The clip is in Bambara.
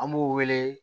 An b'u wele